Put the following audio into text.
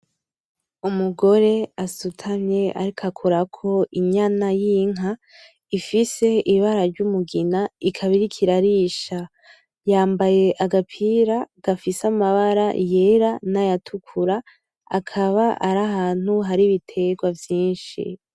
Umugore asutamye ariko akorako inyana y’inka ifise imbara ryumugina yambaye agapiragafise amambara yera na nayatukura akaba arahantu hari ibiterwa vyinshi